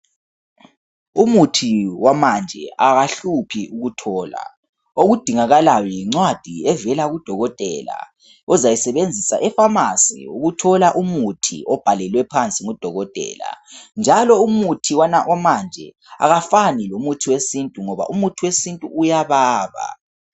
Umuthi wamanje awuhluphi ukuthola okudingakalayo yincwadi evela kudokotela ozayisebenzisa epharmacy ukuthola umuthi owubhalelwe phansi ngudokotela njalo umuthi wamanje awufani lomuthi wesintu ngoba umuthi wesintu uyababa.